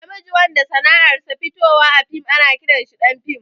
Na miji wanda sanar sa fitowa a fim ana ƙiran sa ɗan fim